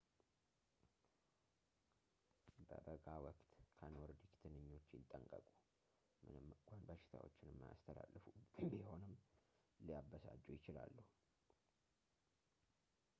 በበጋ ወቅት ከኖርዲክ ትንኞች ይጠንቀቁ ምንም እንኳን በሽታዎችን የማያስተላለፉ ቢሆንም ሊያበሳጩ ይችላሉ